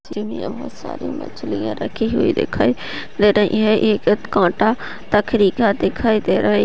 बोहोत साडी मछलियां रखी हुई दिखाई दे रही है एक कटा दिखाई दे रहा है।